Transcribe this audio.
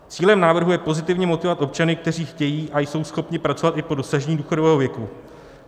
Cílem návrhu je pozitivně motivovat občany, kteří chtějí a jsou schopni pracovat i po dosažení důchodového věku.